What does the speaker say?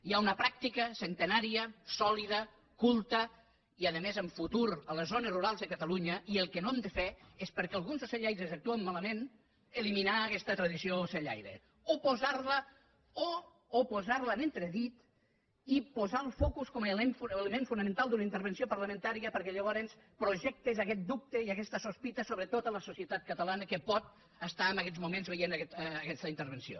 hi ha una pràctica centenària sòlida culta i a més amb futur a les zones rurals de catalunya i el que no hem de fer és perquè alguns ocellaires actuen malament eliminar aguesta tradició ocellaire o posar la en entredit i posar el focus com a element fonamental d’una intervenció parlamentària perquè llavors projectes aguest dubte i aguesta sospita sobre tota la societat catalana que pot estar en aguests moments veient aguesta intervenció